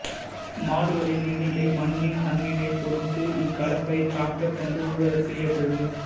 மாடுகளின் எண்ணிக்கை மண்ணின் தன்மையைப் பொருத்து இக்கலப்பை டிராக்டர் கொண்டு உழுவதற்கு ஏற்றது